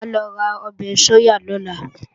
Mà á lọ ra ọbẹ̀ sóyà lọ́la